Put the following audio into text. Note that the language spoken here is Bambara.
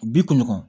Bi kunɲɔgɔn